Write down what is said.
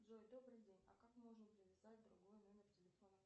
джой добрый день а как можно привязать другой номер телефона